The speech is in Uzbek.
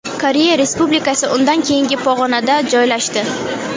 Koreya Respublikasi undan keyingi pog‘onada joylashdi.